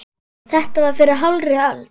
Þetta var fyrir hálfri öld.